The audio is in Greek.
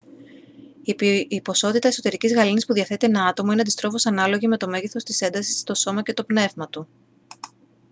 η ποσότητα εσωτερικής γαλήνης που διαθέτει ένα άτομο είναι αντιστρόφως ανάλογη με το μέγεθος της έντασης στο σώμα και το πνεύμα του